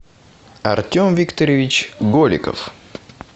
артем викторович голиков